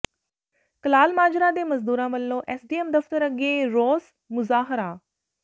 ਕਲਾਲ ਮਾਜਰਾ ਦੇ ਮਜ਼ਦੂਰਾਂ ਵੱਲੋਂ ਐਸਡੀਐਮ ਦਫ਼ਤਰ ਅੱਗੇ ਰੋਸ ਮੁਜ਼ਾਹਰਾ